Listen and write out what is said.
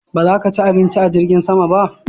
Ba za ka ci abinci a jirgin sama ba?